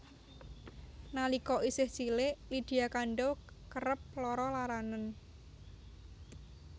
Nalika isih cilik Lydia Kandou kerep lara laranen